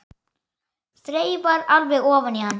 Þreifar alveg ofan í hann.